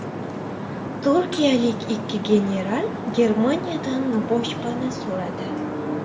Turkiyalik ikki general Germaniyadan boshpana so‘radi.